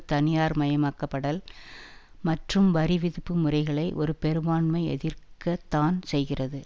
தனியார்மயமாக்கப்படல் மற்றும் வரிவிதிப்பு முறைகளை ஒரு பெரும்பான்மை எதிர்க்க த்தான் செய்கிறது